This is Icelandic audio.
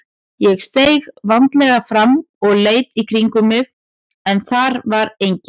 Ég steig varlega fram og leit í kringum mig en þar var enginn.